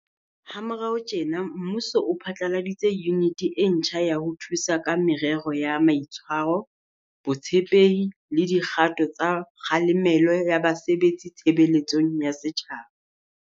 Ha morao tjena, mmuso o phatlaladitse yuniti e ntjha ya ho thusa ka merero ya maitshwaro, Botshepehi le dikgato tsa kgalemelo ya basebetsi tshebeletsong ya setjhaba.